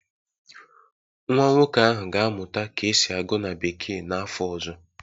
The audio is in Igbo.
Nwa nwoke ahụ ga-amụta ka esi agụ na bekee n'afọ ọzọ